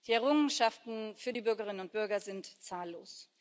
Die Errungenschaften für die Bürgerinnen und Bürger sind zahllos.